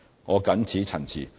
我謹此陳辭。